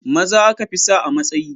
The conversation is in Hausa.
Maza aka fi sa a matsayi